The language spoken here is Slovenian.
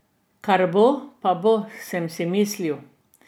Kar bo, pa bo, sem si mislil.